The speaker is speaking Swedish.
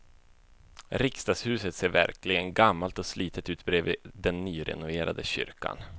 Riksdagshuset ser verkligen gammalt och slitet ut bredvid den nyrenoverade kyrkan.